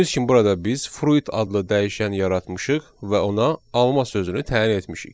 Gördüyünüz kimi burada biz fruit adlı dəyişən yaratmışıq və ona alma sözünü təyin etmişik.